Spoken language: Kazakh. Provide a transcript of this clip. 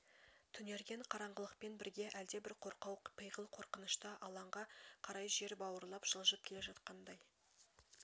түнерген қараңғылықпен бірге әлдебір қорқау пиғыл қорқыныш та алаңға қарай жер бауырлап жылжып келе жатқандай